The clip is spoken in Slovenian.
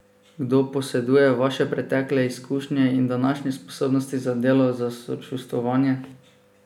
Kdo poseduje vaše pretekle izkušnje in današnje sposobnosti za delo, za sočustvovanje?